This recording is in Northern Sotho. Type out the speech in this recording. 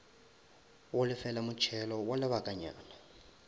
go lefela motšhelo wa lebakanyana